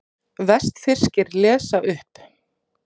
Vestfirskir lesa upp